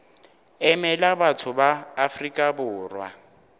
emela batho ba afrika borwa